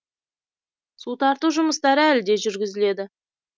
су тарту жұмыстары әлі де жүргізіледі